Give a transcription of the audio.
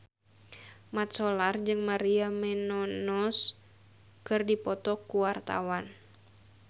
Mat Solar jeung Maria Menounos keur dipoto ku wartawan